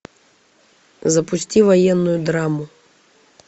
запусти военную драму